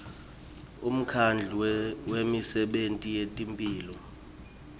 umkhandlu wemisebenti yetemphilo